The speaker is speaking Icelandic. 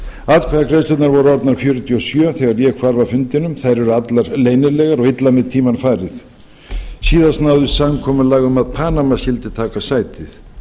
atkvæðagreiðslurnar voru orðnar fjörutíu og sjö þegar ég hvarf af fundinum þær eru allar leynilegar og illa með tímann farið síðast náðist samkomulag um að panama skyldi taka sætið